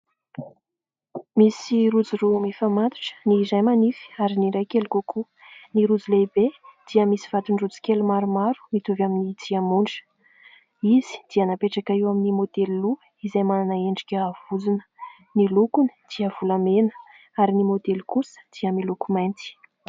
Misy rojo roa mifamatotra, ny iray manify, ary ny iray kely kokoa, ny rojo lehibe dia misy vatony rojo kely maromaro mitovy amin'ny diamondra, izy dia napetraka eo amin'ny modely loha izay manana endrika vozona. Ny lokony dia volamena ary ny modely kosa dia miloko mainty.